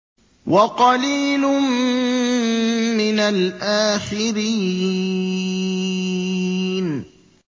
وَقَلِيلٌ مِّنَ الْآخِرِينَ